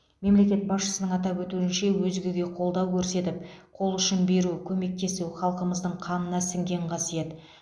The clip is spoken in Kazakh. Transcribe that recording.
мемлекет басшысының атап өтуінше өзгеге қолдау көрсетіп қол ұшын беру көмектесу халқымыздың қанына сіңген қасиет